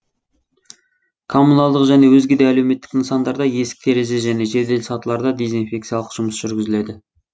коммуналдық және өзге де әлеуметтік нысандарда есік терезе және жедел сатыларда дезинфекциялық жұмыс жүргізіледі